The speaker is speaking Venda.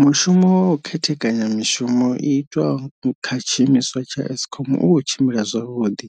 Mushumo wa u khethekanya mishumo i itwaho kha tshiimiswa tsha Eskom u khou tshimbila zwavhuḓi,